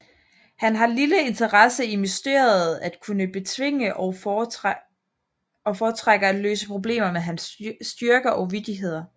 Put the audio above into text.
Han har en lille interesse i mysteriet at kunne betvinge og foretrækker at løse problemer med hans styrke og vittigheder